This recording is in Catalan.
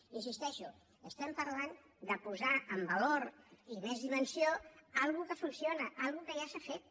hi insisteixo parlem de posar en valor i més dimensió una cosa que funciona una cosa que ja s’ha fet